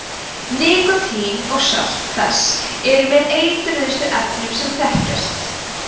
nikótín og sölt þess eru með eitruðustu efnum sem þekkjast